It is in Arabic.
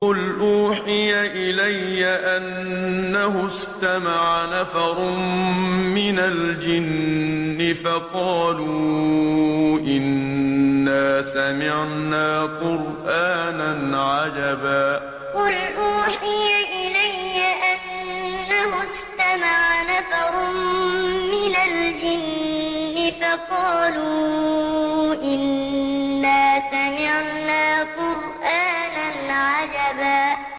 قُلْ أُوحِيَ إِلَيَّ أَنَّهُ اسْتَمَعَ نَفَرٌ مِّنَ الْجِنِّ فَقَالُوا إِنَّا سَمِعْنَا قُرْآنًا عَجَبًا قُلْ أُوحِيَ إِلَيَّ أَنَّهُ اسْتَمَعَ نَفَرٌ مِّنَ الْجِنِّ فَقَالُوا إِنَّا سَمِعْنَا قُرْآنًا عَجَبًا